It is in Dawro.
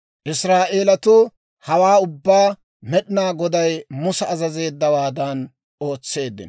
Israa'eelatuu hawaa ubbaa Med'inaa Goday Musa azazeeddawaadan ootseeddino.